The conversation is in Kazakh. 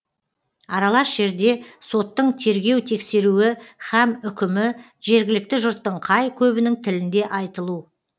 аралас жерде соттың тергеу тексеруі һәм үкімі жергілікті жұрттың қай көбінің тілінде айтылу